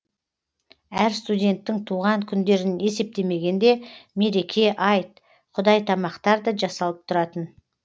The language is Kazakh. әр студенттің туған күндерін есептемегенде мереке айт құдай тамақтар да жасалып тұратын